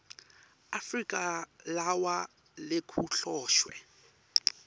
afrika lawa lekuhloswe